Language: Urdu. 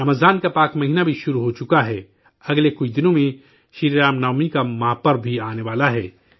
رمضان کا مقدس مہینہ بھی شروع ہو چکا ہے اگلے کچھ دنوں میں شری رام نومی کا مہا پرو بھی آنے والا ہے